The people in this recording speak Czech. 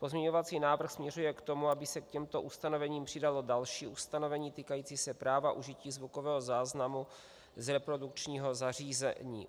Pozměňovací návrh směřuje k tomu, aby se k těmto ustanovením přidalo další ustanovení týkající se práva užití zvukového záznamu z reprodukčního zařízení.